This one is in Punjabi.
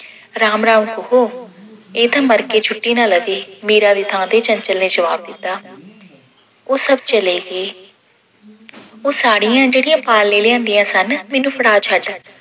ਰਾਮ-ਰਾਮ ਕਹੋ ਇਹ ਤਾਂ ਮਰਕੇ ਛੁੱਟੀ ਨਾ ਲਵੇ, ਮੀਰਾ ਦੀ ਥਾਂ ਤੇ ਚੰਚਲ ਨੇ ਜਵਾਬ ਦਿੱਤਾ। ਉਹ ਸਭ ਚਲੇ ਗਏ। ਉਹ ਸਾੜੀਆਂ ਜਿਹੜੀਆਂ ਪਾਲ ਨੇ ਲਿਆਂਦੀਆ ਸਨ ਮੈਨੂੰ ਫੜਾ ਛੱਡ